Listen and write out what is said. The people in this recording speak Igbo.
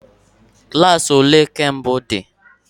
Klas ole nke mbụ dị?